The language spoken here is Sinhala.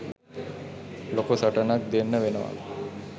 ලොකු සටනනක් දෙන්න වෙනවා.